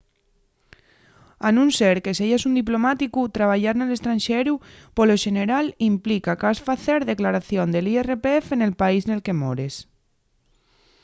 a nun ser que seyas un diplomáticu trabayar nel estranxeru polo xeneral implica qu’has facer declaración del irpf nel país nel que mores